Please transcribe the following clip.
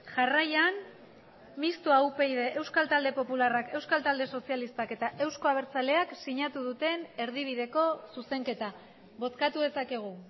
jarraian mistoa upyd euskal talde popularrak euskal talde sozialistak eta euzko abertzaleak sinatu duten erdibideko zuzenketa bozkatu dezakegu